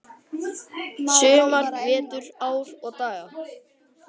sumar, vetur, ár og daga.